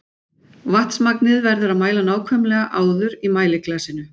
Vatnsmagnið verður að mæla nákvæmlega áður í mæliglasinu.